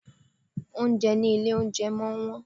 Oúnjẹ ní ilé oúnjẹ máa ń wón.